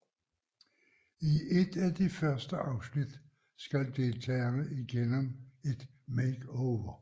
I et af de første afsnit skal deltagerne igennem en makeover